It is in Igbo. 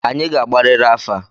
Anyị ga-agbariri afa!